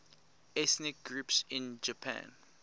ethnic groups in japan